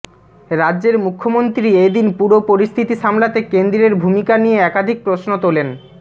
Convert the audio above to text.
রাজ্য়ের মুখ্য়মন্ত্রী এদিন পুরো পরিস্থিতি সামলাতে কেন্দ্রের ভূমিকা নিয়ে একাধিক প্রশ্ন তোলেন